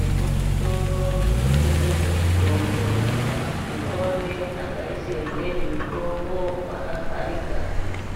Emuzvitoro zvinotengeswe mitombo tinoone akaise imweni mitombo mwakavharika